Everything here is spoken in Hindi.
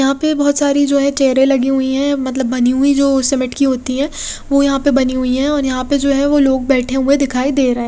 यहाँ पे बोहोत सारी जो है चेरे लगी हुई है मतलब बनी हुई जो सीमेंट की होती है वो यहाँ पे बनी हुई है और यहाँ पे जो है वो लोग बेठे हुए दिखाई दे रहे --